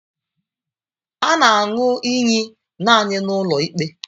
A na aṅụ iyi naanị n'ụlọ ikpe.